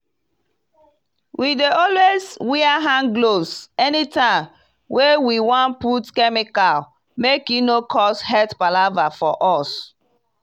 we dey alwys wear handgloves anytime wey we wan put chemical make e no cause health palava for us.